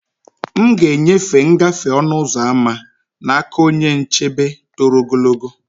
M ga-enyefe ngafe ọnụ ụzọ ámá n'aka onye nchebe toro ogologo.